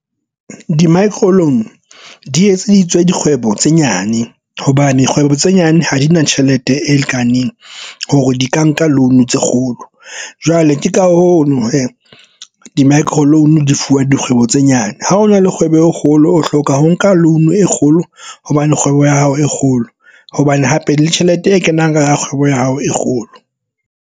Di-microloan di etseditswe dikgwebo tse nyane hobane kgwebo tse nyane ha di na tjhelete e lekaneng hore di ka nka loan tse kgolo jwale ke ka hona he di-microloan di fuwa dikgwebo tse nyane. Ha ho na le kgwebo e kgolo o hloka ho nka loan e kgolo hobane kgwebo ya hao e kgolo hobane hape le tjhelete e kenang ka kgwebo ya hao e kgolo.